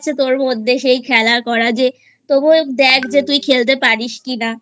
তোর মধ্যে সেই খেলা করা যে তবুও দেখ যে তুই খেলতে পারিস কিনা